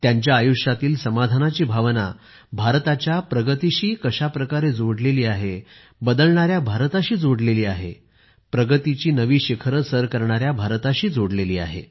त्यांच्या आयुष्यातील समाधानाची भावना भारताच्या प्रगतीशी जोडलेली आहे बदलणाऱ्या भारताशी जोडलेली आहे प्रगतीची नवी शिखरे सर करणाऱ्या भारताशी जोडलेली आहे